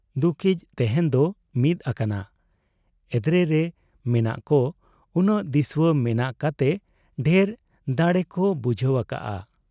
ᱫᱩᱠᱤᱡ ᱛᱮᱦᱮᱧ ᱠᱚ ᱢᱤᱫ ᱟᱠᱟᱱᱟ ᱾ ᱮᱫᱽᱨᱮᱨᱮ ᱢᱮᱱᱟᱜ ᱠᱚ ᱩᱱᱟᱹᱜ ᱫᱤᱥᱩᱣᱟᱹ ᱢᱮᱱᱟᱜ ᱠᱟᱛᱮ ᱰᱷᱮᱨ ᱫᱟᱲᱮᱠᱚ ᱵᱩᱡᱷᱟᱹᱣ ᱟᱠᱟᱜ ᱟ ᱾